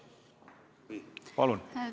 Palun!